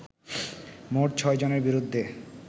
মোট ছয় জনের বিরুদ্ধে